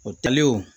O tali o